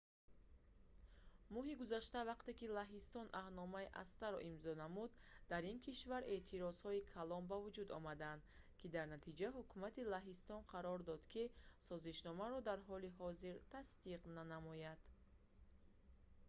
моҳи гузашта вақте ки лаҳистон аҳдномаи acta-ро имзо намуд дар ин кишвар эътирозҳои калон ба вуҷуд омаданд ки дар натиҷа ҳукумати лаҳистон қарор дод ки созишномаро дар ҳоли ҳозир тасдиқ нанамояд